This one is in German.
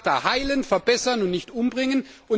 Wir wollen ACTA heilen, verbessern und nicht umbringen.